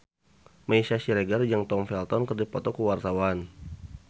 Meisya Siregar jeung Tom Felton keur dipoto ku wartawan